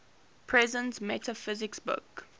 presence metaphysics book